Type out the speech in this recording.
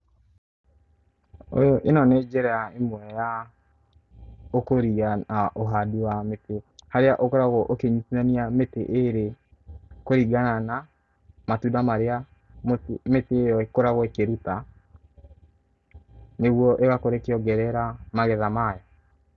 Ĩno nĩ njĩra ĩmwe ya ũkũria na ũhandi wa mĩtĩ harĩa ũkoragwo ũkĩnyitithania mĩtĩ ĩrĩ kũringana na matunda marĩa mĩtĩ ĩyo ĩkoragwo ĩkĩruta nĩguo ĩgakorwo ĩkĩongerera magetha mayo.